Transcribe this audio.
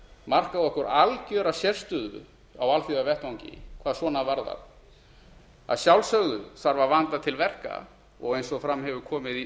markað okkur algera sérstöðu á alþjóðavettvangi hvað svona varðar að sjálfsögðu þarf að vanda til verka og eins og fram hefur komið í